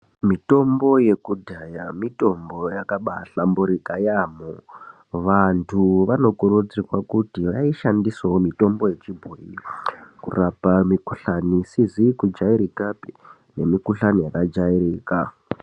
Mitombo yekudhaya mitombo yakabaihlamburika yaamho. Vantu vanokurudzirwa kuti vaishandisewo mitombo wechibhoyi kurapa mukuhlani isizi kujairikapi nemukuhlani yakajairika.